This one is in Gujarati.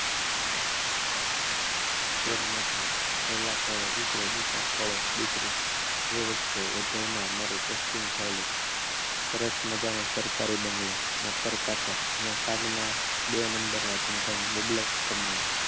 લગ્ન થયા પહેલા ખોડે દીકરો અને બીજા ખોડે દીકરી એવા માં માં મારો પોસ્ટીંગ થયું હતું સરસ મજાનો સરકારી બંગલો નોકર-ચાકર અને સાગ બે નંબરના ધંધો ની બબલર કમાણી